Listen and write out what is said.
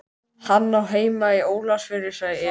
Hann á heima í Ólafsfirði, sagði Emil.